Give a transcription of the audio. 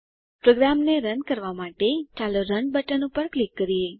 પ્રોગ્રામને રન કરવાં માટે ચાલો રન બટન પર ક્લિક કરીએ